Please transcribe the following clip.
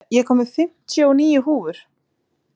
Louise, ég kom með fimmtíu og níu húfur!